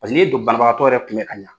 n'i ye dɔ banabagatɔ yɛrɛ kunbɛ k'a ɲa